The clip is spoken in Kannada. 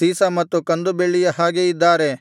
ಸೀಸ ಮತ್ತು ಕಂದು ಬೆಳ್ಳಿಯ ಹಾಗೆ ಇದ್ದಾರೆ